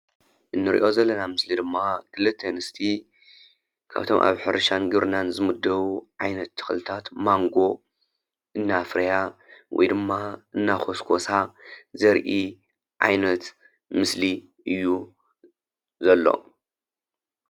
እንርእዮ ዘለና ምስሊ ድማ ክልተ ኣንስቲ ካብቶም ኣብ ሕርሻን ግብርናን ዝምደቡ ዓይነት ተክልታት ማንጎ እናፍረያ ወይ ድማ እናኮስኮሳ ዘሪኢ ዓይነት ምስሊ እዩ ዘሎ።